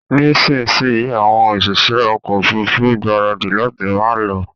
Nísinsìnyí àwọn òṣìṣẹ́ ọkọ ofurufu ń gbaradi láti máa lọ